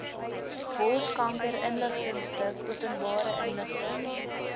borskankerinligtingstuk openbare inligting